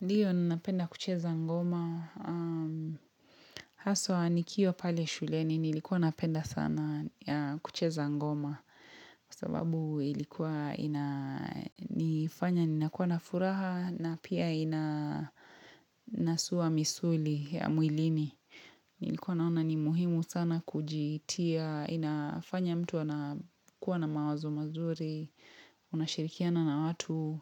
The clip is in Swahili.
Ndiyo ninapenda kucheza ngoma, haswa nikiwa pale shuleni nilikuwa napenda sana kucheza ngoma. Kwa sababu ilikuwa inanifanya ninakuwa na furaha na pia inasua misuli ya mwilini. Nilikuwa naona ni muhimu sana kujitia, inafanya mtu anakuwa na mawazo mazuri, Unashirikiana na watu,